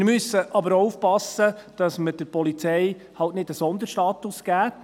Wir müssen aber auch aufpassen, dass wir der Polizei eben nicht einen Sonderstatus geben.